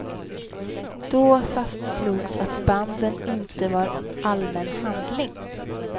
Då fastslogs att banden inte var allmän handling.